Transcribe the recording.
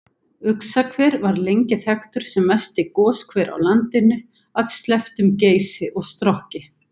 Uxahver var lengi þekktur sem mesti goshver á landinu að slepptum Geysi og Strokki.